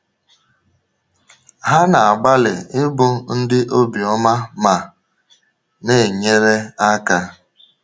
Ha na-agbalị ịbụ ndị obiọma ma na-enyere aka.